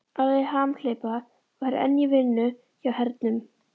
Alli hamhleypa var enn í vinnu hjá hernum.